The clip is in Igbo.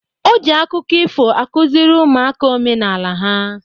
O ji akụkọ ifo akụziri ụmụaka omenala ha.